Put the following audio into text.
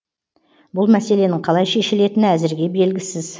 бұл мәселенің қалай шешілетіні әзірге белгісіз